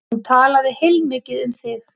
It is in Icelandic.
Hún talaði heilmikið um þig.